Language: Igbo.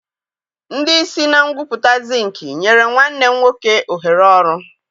Ndị isi na ngwupụta zinki nyere nwanne m nwoke ohere ọrụ.